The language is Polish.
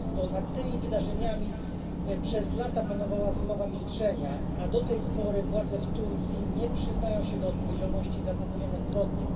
Nad tymi wydarzeniami przez lata panowała zmowa milczenia, a do tej pory władze w Turcji nie przyznają się do odpowiedzialności za popełnione zbrodnie.